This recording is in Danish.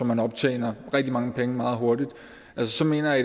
man optjener rigtig mange penge meget hurtigt så mener jeg